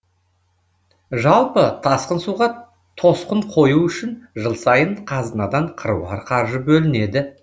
жалпы тасқын суға тосқын қою үшін жыл сайын қазынадан қыруар қаржы бөлінеді